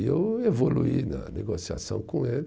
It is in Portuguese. E eu evoluí na negociação com ele.